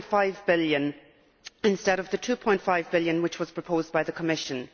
3.5 billion instead of the EUR 2.5 billion which was proposed by the Commission.